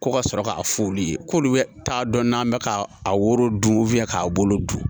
Ko ka sɔrɔ k'a fɔ olu ye k'olu bɛ t'a dɔn n'an bɛ ka a woro dun k'a bolo dun